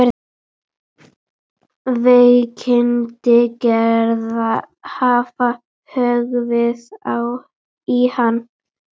Veikindi Gerðar hafa höggvið í hann.